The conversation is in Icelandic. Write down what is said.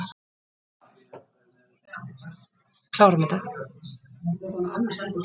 Þetta er mér í dag ógnvekjandi tilhugsun.